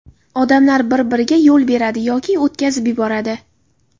Odamlar bir-biriga yo‘l beradi yoki o‘tkazib yuboradi.